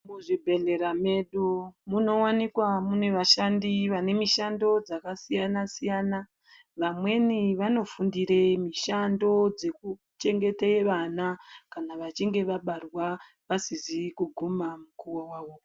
Muzvibhedhlera medu munowanikwa mune vashandi vane mishando yakasiyana siyana, vamweni vanofundire mishando yekuchengete vana kana vachinge vabarwa vasizi kuguma mukuwo wavo.